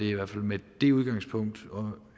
i hvert fald med det udgangspunkt og